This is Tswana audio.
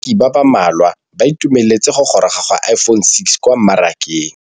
Bareki ba ba malwa ba ituemeletse go gôrôga ga Iphone6 kwa mmarakeng.